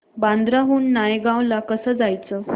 बांद्रा हून नायगाव ला कसं जायचं